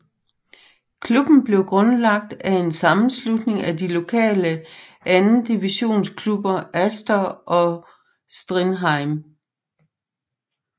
Klubben blev grundlagt af en sammenslutning af de lokale andendivisionsklubber Astor og Strindheim